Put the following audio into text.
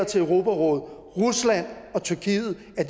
til europarådet rusland og tyrkiet